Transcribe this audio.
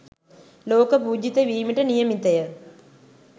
ලෝක පූජිත වීමට නියමිතය.